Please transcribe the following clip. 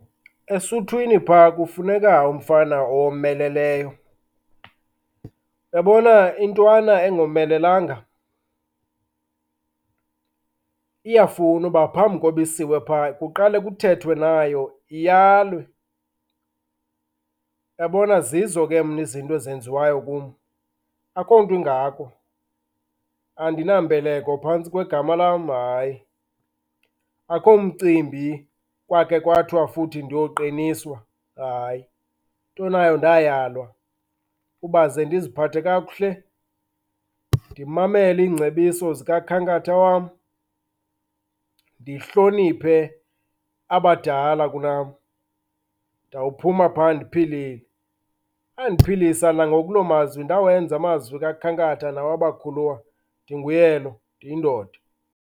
Esuthwini phaa, kufuneka umfana owomeleleyo. Uyabona, intwana engomelelanga iyafuna uba phambi kokuba isiwe phaa, kuqale kuthethwe nayo iyalwe. Uyabona, zizo ke mna izinto ezinziwayo kum, akukho nto ingako. Andinambeleko phantsi kwegama lam, hayi. Akukho mcimbi kwakhe kwathiwa futhi ndiyoqiniswa, hayi. Into nayo ndayalwa uba ze ndiziphathe kakuhle, ndimamele iingcebiso zikakhankatha wam, ndihloniphe abadala kunam, ndawuphuma phaa ndiphilile. Andiphilisa nangoku loo mazwi. Ndawenza amazwi kakhankatha nawabakhuluwa, ndinguye lo, ndiyindoda.